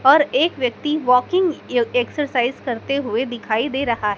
और एक व्यक्ति वॉकिंग एक्सरसाइज करते हुए दिखाई दे रहा--